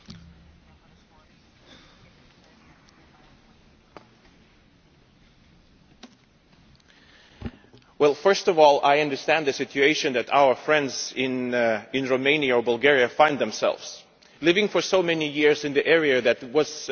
First of all, I understand the situation that our friends in Romania and Bulgaria find themselves in, having lived for so many years in an area that was apparently an area of peace and recreation and now is an area where, supposedly, nuclear armaments might